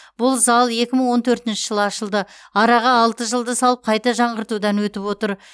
бұл зал екі мың он төртінші жылы ашылды араға алты жылды салып қайта жаңғыртудан өтіп отыр